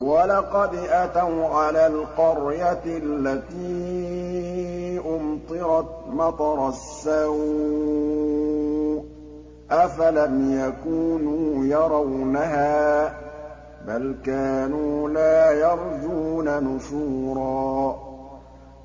وَلَقَدْ أَتَوْا عَلَى الْقَرْيَةِ الَّتِي أُمْطِرَتْ مَطَرَ السَّوْءِ ۚ أَفَلَمْ يَكُونُوا يَرَوْنَهَا ۚ بَلْ كَانُوا لَا يَرْجُونَ نُشُورًا